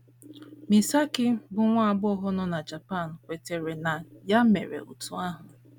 Misaki, bụ́ nwa agbọghọ nọ na Japan, kwetara na ya mere otú ahụ.